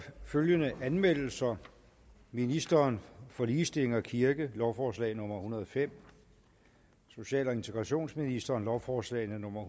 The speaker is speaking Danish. følgende anmeldelser ministeren for ligestilling og kirke lovforslag nummer hundrede og fem social og integrationsministeren lovforslag nummer